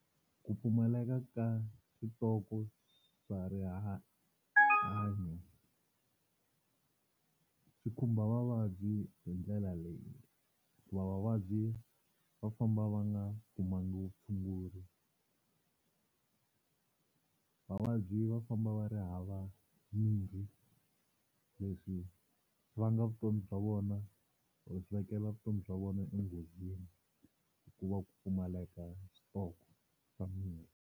Ku pfumaleka ka switoko swa rihanyo swi khumba vavabyi hi ndlela leyi, hikuva vavabyi va famba va nga kumanga vutshunguri. Vavabyi va famba va ri hava mimirhi leswi vanga vutomi bya vona or swi vekela vutomi bya vona enghozini hikuva ku pfumaleka switoko swa mirhi.